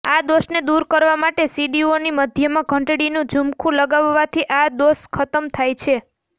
આ દોષને દૂર કરવા માટે સીડીઓની મધ્યમાં ઘંટડીનું ઝુમખુ લગાવાથી આ દોષ ખતમ થાય છે